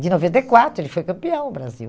De noventa e quatro, ele foi campeão o Brasil.